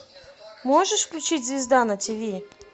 можешь включить звезда на тиви